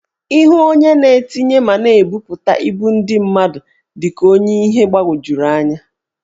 Ihu onye na-etinye ma na-ebuputa ibu ndị mmadụ dị ka ọnye ihe gbawojuru anya.